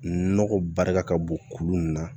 Nɔgɔ barika ka bon kulu mun na